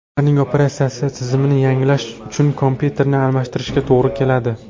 Ularning operatsion tizimini yangilash uchun kompyuterni almashtirishga to‘g‘ri keladi.